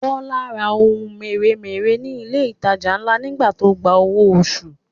Bọ́lá ra ohun mèremère ní ilé ìtajà ńlá nígbà tó gba owó oṣù